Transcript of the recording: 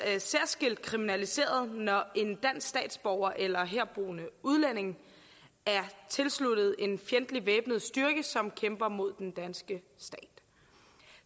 særskilt kriminaliseret når en dansk statsborger eller herboende udlænding er tilsluttet en fjendtlig væbnet styrke som kæmper mod den danske stat